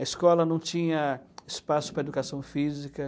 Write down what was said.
A escola não tinha espaço para educação física.